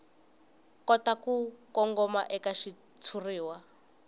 kota ku kongoma eka xitshuriwa